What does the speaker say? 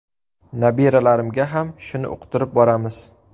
Nabiralarimga ham shuni uqtirib boramiz.